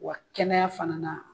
Wa kɛnɛya fana na